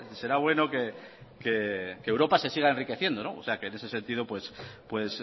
será bueno que europa se siga enriqueciendo o sea que en ese sentido pues